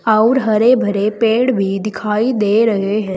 आउर हरे भरे पेड़ भी दिखाई दे रहे हैं।